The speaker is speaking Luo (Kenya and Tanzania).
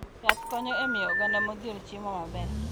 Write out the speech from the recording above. Yath konyo e miyo oganda modhier chiemo maber.